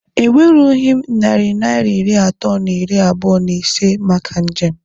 E nwerughị m narị Naịra iri atọ na iri abụọ na ise maka njem